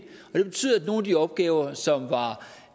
og de opgaver som var